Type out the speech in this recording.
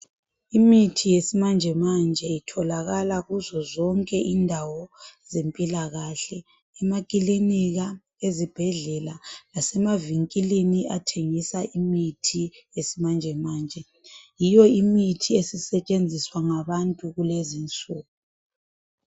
Imithi yesimanjemanje etholakala kuzo zonke indawo zempilakahle, emakilinika, ezibhedlela lasemavinkilini athengisa imithi yesi manjemanje. Yiyo imithi esisetshenziswa ngabantu kulezi insuku